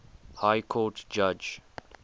high court judge